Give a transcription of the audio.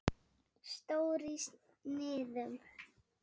Stór í sniðum.